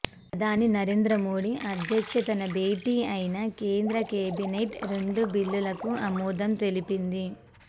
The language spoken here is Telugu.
ప్రధాని నరేంద్ర మోదీ అధ్యక్షతన భేటీ అయిన కేంద్ర కేబినెట్ రెండు బిల్లులకు ఆమోదం తెలిపింది